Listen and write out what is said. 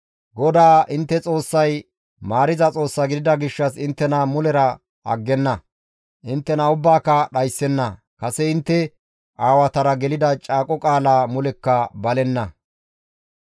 GODAA intte Xoossay maariza Xoossa gidida gishshas inttena mulera aggenna; inttena ubbaaka dhayssenna; kase intte aawatara gelida caaqo qaalaa mulekka balenna.